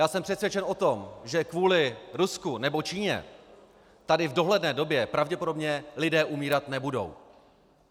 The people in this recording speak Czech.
Já jsem přesvědčen o tom, že kvůli Rusku nebo Číně tady v dohledné době pravděpodobně lidé umírat nebudou.